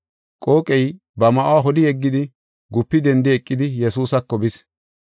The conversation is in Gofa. Qooqey ba ma7uwa holi yeggidi, gupi dendi eqidi, Yesuusako bis.